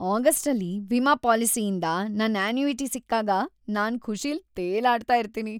ಆಗಸ್ಟಲ್ಲಿ ವಿಮಾ ಪಾಲಿಸಿಯಿಂದ ನನ್ ಅನ್ಯೂಇಟಿ ಸಿಕ್ಕಾಗ ನಾನ್‌ ಖುಷಿಲ್‌ ತೇಲಾಡ್ತಾ ಇರ್ತೀನಿ.